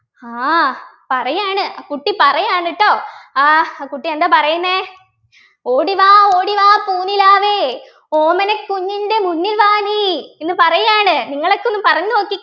ആഹ് പറയാണ് അ കുട്ടി പാറയാണ് ട്ടോ ആഹ് കുട്ടി എന്താ പറയുന്നേ ഓടിവാ ഓടിവാ പൂനിലാവേ ഓമനക്കുഞ്ഞിൻ്റെ മുന്നിൽ വാ നീ എന്ന് പറയാണ് നിങ്ങളൊക്കെ ഒന്ന് പറഞ്ഞു നോക്കി